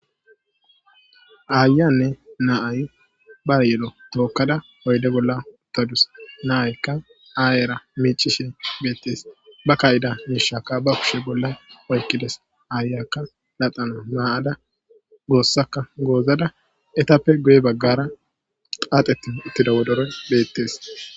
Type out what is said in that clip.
Ayiyanne na'ay ba yelo tokada uyde bolla utadus nayika ayra micishe betes ba ka'aiza misha ba kushe bolla oykides ayiyaka laxan mayada gosaka gozada etaoe guye bagara qabpheti utida wodoroyka betes